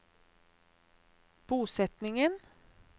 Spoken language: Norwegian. bosetningen